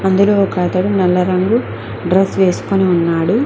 ఇందులో ఒకతడు నల్ల రంగు డ్రెస్ వేసుకొని ఉన్నాడు.